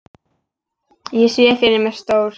Ég sé fyrir mér stór